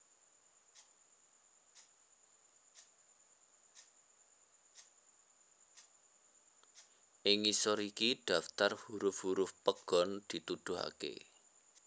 Ing ngisor iki daftar huruf huruf pegon dituduhaké